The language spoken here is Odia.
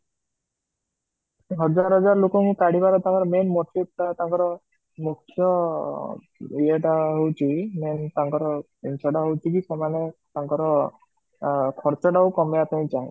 ହଜାର ହଜାର ଲୋକଙ୍କୁ କାଢିବାର main motive ଟା ତାଙ୍କର ମୁଖ୍ୟ ଯେ ଟା ହୋଉଛି main ତାଙ୍କର ଜିନ୍ସ ଟା ହୋଉଛି କି ସେମାନେ ତାଙ୍କର ଖ ଟା କମେଇବାକୁ କହୁଁଛନ୍ତି